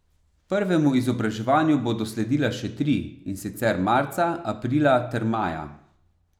Prvemu izobraževanju bodo sledila še tri, in sicer marca, aprila ter maja.